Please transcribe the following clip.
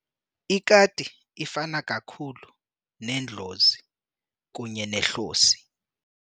Ikati ifana kakhulu nendlozi kunye nehlosi.